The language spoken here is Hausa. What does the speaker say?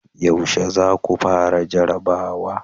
Yaushe za ku fara jarrabawa?